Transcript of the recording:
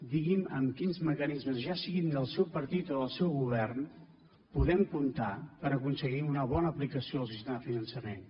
digui’m amb quins mecanismes ja siguin del seu partit o del seu govern podem comptar per aconseguir una bona aplicació del sistema de finançament